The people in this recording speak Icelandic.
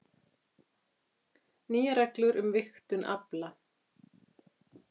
Nýjar reglur um vigtun afla